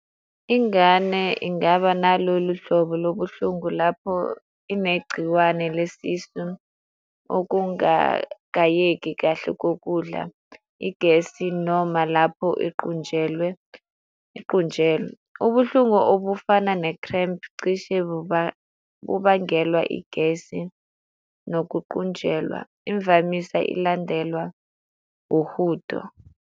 Ingane ingaba nalolu hlobo lobuhlungu lapho inegciwane lesisu okungagayeki kahle kokudla, igesi noma lapho iqunjelwe, iqunjelwe. Ubuhlungu obufana ne-cramp cishe bubangelwa igesi nokuqunjelwa, imvamisa ilandelwa uhudo.